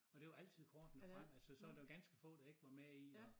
Og det var altid kortene frem altså så der ganske få der ikke var med i og